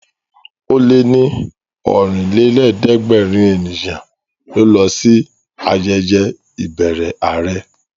Ó lé ní Ọ̀rìnlélẹ̀ẹ́dẹ́gbèrin ènìyàn ló lọ sí ayẹyẹ ìbẹrẹ àrẹ